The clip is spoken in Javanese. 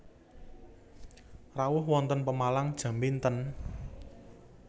Rawuh wonten Pemalang jam pinten